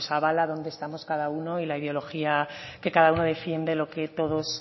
avala donde estamos cada uno y la ideología que cada uno defiende lo que todos